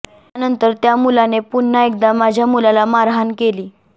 यानंतर त्या मुलाने पुन्हा एकदा माझ्या मुलाला मारहाण केली